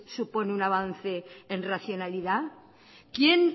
supone un avance en racionalidad quién